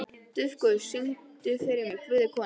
Dufgus, syngdu fyrir mig „Guð er kona“.